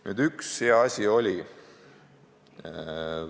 Nüüd, üks hea asi siin siiski oli.